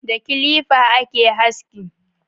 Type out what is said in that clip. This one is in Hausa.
Da kilifa a ke haski